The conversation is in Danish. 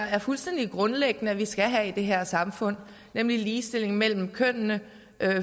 er fuldstændig grundlæggende vi skal have i det her samfund nemlig ligestilling mellem kønnene